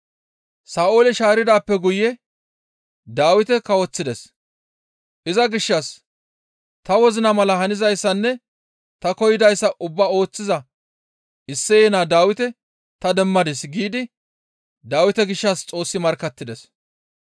Sa7oole shaaridaappe guye Dawite kawoththides; iza gishshas, ‹Ta wozina mala hanizayssanne ta koyidayssa ubbaa ooththiza Isseye naa Dawite ta demmadis› giidi Dawite gishshas Xoossi markkattides.